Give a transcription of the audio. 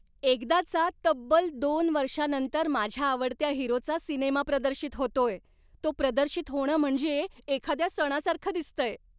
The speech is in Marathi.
एकदाचा तब्बल दोन वर्षानंतर माझ्या आवडत्या हिरोचा सिनेमा प्रदर्शित होतोय, तो प्रदर्शित होणं म्हणजे एखाद्या सणासारखं दिसतंय.